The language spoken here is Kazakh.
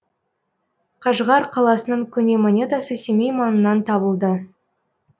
қажғар қаласының көне монетасы семей маңынан табылды